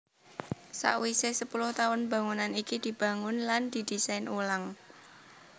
Sawisé sepuluh taun bangunan iki dibangun lan didésain ulang